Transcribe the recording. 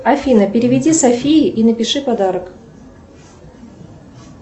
афина переведи софии и напиши подарок